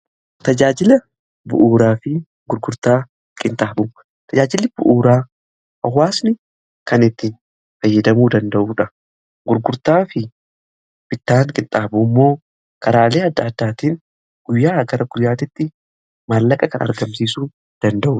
Tajaajila bu'uuraa fi gurgurtaa qinxaaboo tajaajilli bu'uuraa hawaasni kan ittiin fayyadamuu danda'uudha. Gurgurtaa fi bittaan qinxaaboo immoo karaalee adda addaatiin guyyaaa gara guyyaatiitti maallaqa kan argamsiisuu danda'udha.